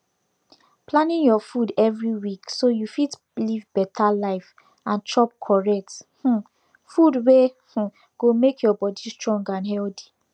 planing your food every week so you fit live better life and chop correct um food wey um go make your body strong and healthy